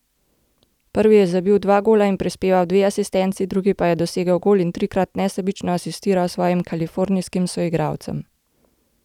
Prvi je zabil dva gola in prispeval dve asistenci, drugi pa je dosegel gol in trikrat nesebično asistiral svojim kalifornijskim soigralcem.